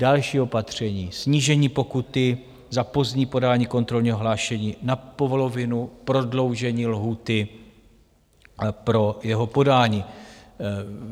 Další opatření - snížení pokuty za pozdní podání kontrolního hlášení na polovinu, prodloužení lhůty pro jeho podání.